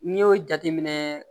N'i y'o jateminɛ